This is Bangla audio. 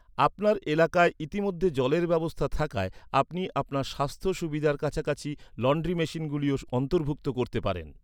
আপনার এলাকায় ইতিমধ্যে জলের ব্যবস্থা থাকায় আপনি আপনার স্বাস্থ্য সুবিধার কাছাকাছি লন্ড্রি মেশিনগুলিও অন্তর্ভুক্ত করতে পারেন।